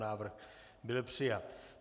Návrh byl přijat.